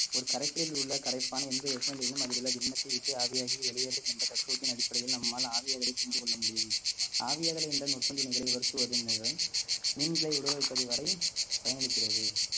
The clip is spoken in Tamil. ஒரு கரைசலில் உள்ள கரைப்பான் எந்த வெப்பநிலையிலும் அதிலுள்ள திண்மத்தைவிட்டு ஆவியாகி வெளியேறும் என்ற தத்துவத்தின் அடிப்படையில் நம்மால் ஆவியாதலை புரிந்து கொள்ள முடியும் ஆவியாதலை என்ற நுட்ப துணைகளை உலர்த்துவதன் மூலம் மீன்களை உலர வைப்பது வரை பயனளிக்கிறது